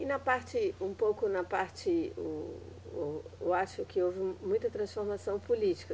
E na parte, um pouco na parte, o, o, eu acho que houve muita transformação política.